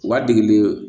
U b'a dege